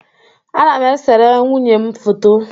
Ana m esere nwunye m foto